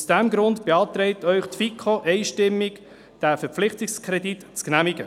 Aus diesem Grund beantragt Ihnen die FiKo einstimmig, den Verpflichtungskredit zu genehmigen.